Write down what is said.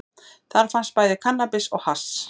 Þar fannst bæði kannabis og hass